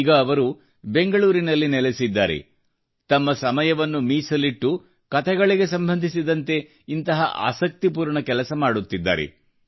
ಈಗ ಅವರು ಬೆಂಗಳೂರಿನಲ್ಲಿ ನೆಲೆಸಿದ್ದಾರೆ ಮತ್ತು ತಮ್ಮ ಸಮಯವನ್ನು ಮೀಸಲಿಟ್ಟು ಕತೆಗಳಿಗೆ ಸಂಬಂಧಿಸಿದಂತೆ ಇಂತಹ ಆಸಕ್ತಿಪೂರ್ಣ ಕೆಲಸ ಮಾಡುತ್ತಿದ್ದಾರೆ